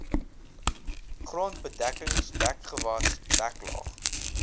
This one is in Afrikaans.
grondbedekking dekgewas deklaag